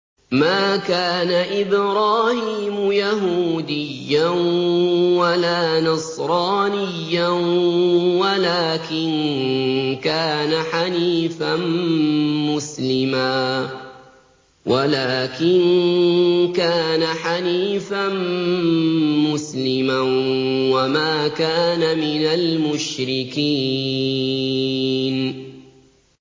مَا كَانَ إِبْرَاهِيمُ يَهُودِيًّا وَلَا نَصْرَانِيًّا وَلَٰكِن كَانَ حَنِيفًا مُّسْلِمًا وَمَا كَانَ مِنَ الْمُشْرِكِينَ